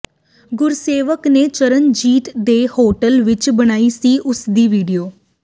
ਗੁਰਸੇਵਕ ਨੇ ਚਰਨਜੀਤ ਦੇ ਹੋਟਲ ਵਿਚ ਬਣਾਈ ਸੀ ਉਸ ਦੀ ਵੀਡੀਓ